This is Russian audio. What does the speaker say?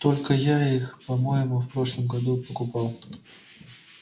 только я их по-моему в прошлом году покупал